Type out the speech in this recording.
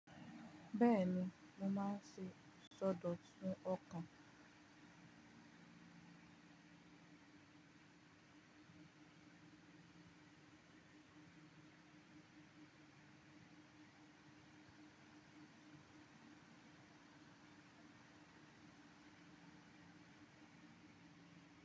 Bẹ́ẹ̀ni, mo máa ń ṣe sọ́dọ̀ sun ọkàn.